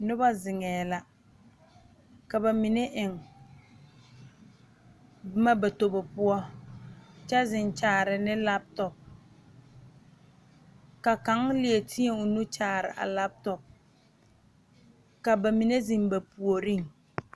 Noba zeŋɛɛ la ka ba mine eŋ boma ba tobo poɔ kyɛ zeŋ kyaare ne lape tɔpe ka kaŋ leɛ teɛ o nu kyaare a lape tɔpe ka ba mine zeŋ ba puoriŋ.